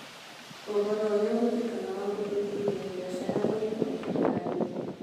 Ũhoro ũrĩa ũhũthĩkaga wa gũthuthuria biacara ũrĩ kompiuta-inĩ